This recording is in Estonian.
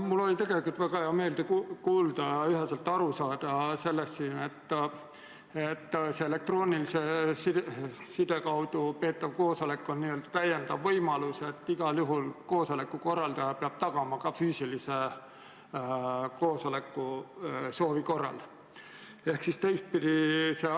Mul oli tegelikult väga hea meel kuulda ja üheselt aru saada, et elektroonilise side abil peetav koosolek on täiendav võimalus ja et igal juhul koosoleku korraldaja peab tagama ka füüsilise koosoleku, kui seda soovitakse.